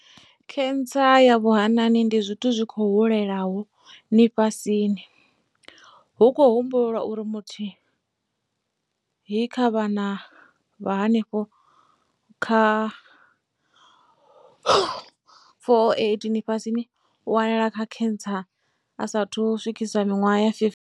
Khentsa ya vhuhanani ndi zwithu zwi khou hulelaho ṅifhasini, hu khou humbulelwa uri muthihi kha vhana vha henefha kha vha 408 ṅifhasini u wanala e na khentsa a sa athu u swikisa miṅwaha ya 15.